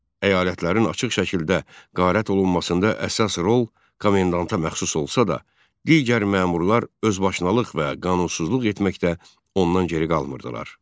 Əyalətlərin açıq şəkildə qaret olunmasında əsas rol komendanta məxsus olsa da, digər məmurlar özbaşınalıq və qanunsuzluq etməkdə ondan geri qalmırdılar.